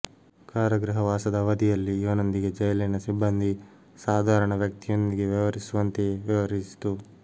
ಕಾರಾಗೃಹ ವಾಸದ ಅವಧಿಯಲ್ಲಿ ಇವನೊಂದಿಗೆ ಜೈಲಿನ ಸಿಬ್ಬಂದಿ ಸಾಧಾರಣ ವ್ಯಕ್ತಿಯೊಂದಿಗೆ ವ್ಯವಹರಿಸುವಂತೆಯೇ ವ್ಯವಹರಿಸಿತು